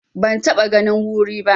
Ban taɓa ganin wuri ba.